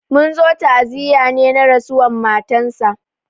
Mun zo ta'aziya ne na rasuwan matansa.